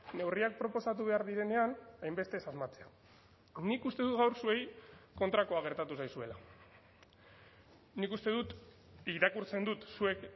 neurriak proposatu behar direnean hainbeste ez asmatzea nik uste dut gaur zuei kontrakoa gertatu zaizuela nik uste dut irakurtzen dut zuek